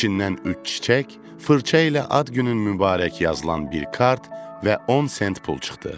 İçindən üç çiçək, fırça ilə ad günün mübarək yazılan bir kart və 10 sent pul çıxdı.